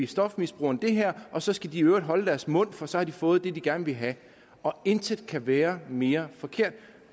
stofmisbrugerne det her og så skal de i øvrigt holde deres mund for så har de fået det de gerne ville have intet kan være mere forkert